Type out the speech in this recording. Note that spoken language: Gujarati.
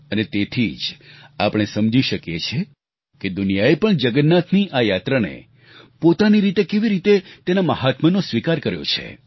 અને તેથી જ આપણે સમજી શકીએ છીએ કે દુનિયાએ પણ જગન્નાથની આ યાત્રાને પોતાની રીતે કેવી રીતે તેના મહાત્મ્યનો સ્વીકાર કર્યો છે